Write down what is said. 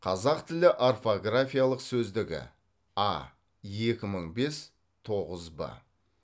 қазақ тілі орфографиялық сөздігі а екі мың бес тоғыз б